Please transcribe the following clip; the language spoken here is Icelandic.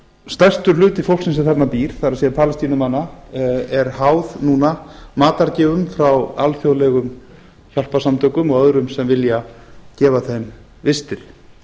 stærstur hluti fólksins sem þarna býr það er palestínumanna er háð núna matargjöfum frá alþjóðlegum hjálparsamtökum og öðrum sem vilja gefa þeim vistir